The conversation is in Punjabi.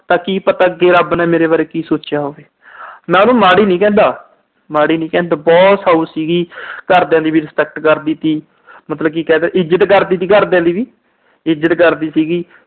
ਤਾਂ ਕੀ ਪਤਾ ਅੱਗੇ ਰੱਬ ਨੇ ਮੇਰੇ ਬਾਰੇ ਕੀ ਸੋਚਿਆ ਹੋਵੇ। ਮੈਂ ਉਹਨੂੰ ਮਾੜੀ ਨੀ ਕਹਿੰਦਾ। ਅਹ ਮਾੜੀ ਨੀ ਕਹਿੰਦਾ। ਬਹੁਤ ਸਾਊ ਸੀਗੀ। ਘਰਦਿਆਂ ਦੀ ਵੀ respect ਕਰਦੀ ਤੀ, ਇੱਜਤ ਕਰਦੀ ਤੀ ਘਰਦਿਆਂ ਦੀ ਵੀ, ਇੱਜਤ ਕਰਦੀ ਤੀ।